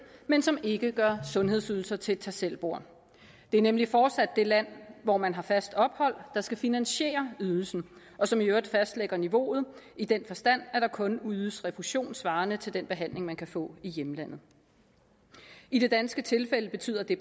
men som ikke gør sundhedsydelser til et tag selv bord det er nemlig fortsat det land hvor man har fast ophold der skal finansiere ydelsen og som i øvrigt fastlægger niveauet i den forstand at der kun ydes refusion svarende til den behandling man kan få i hjemlandet i det danske tilfælde betyder det